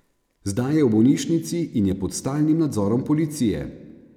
Zdaj je v bolnišnici in je pod stalnim nadzorom policije.